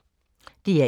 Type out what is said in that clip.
DR1